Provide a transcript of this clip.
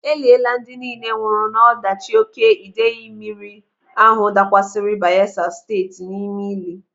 Eliela ndị nille nwụrụ n'ọdachi oké idei mmiri ahụ dakwasịrị Bayelsa Steeti n'ime ili.